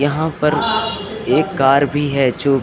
यहां पर एक कार भी है जो --